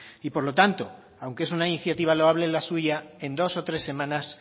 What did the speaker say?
y por lo tanto aunque es una iniciativa loable la suya en dos o tres semanas